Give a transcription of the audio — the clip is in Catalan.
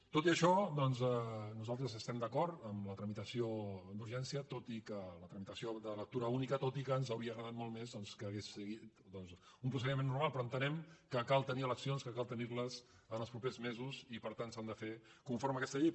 tot i això nosaltres estem d’acord amb la tramitació d’urgència tot i que la tramitació de lectura única ens hauria agradat molt més doncs que hagués seguit un procediment normal però entenem que cal tenir elec·cions que cal tenir·les en els propers mesos i per tant s’han de fer conforme a aquesta llei